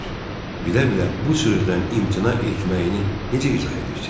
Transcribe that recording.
Bilə-bilə bu sözdən imtina etməyini necə izah edirsiz?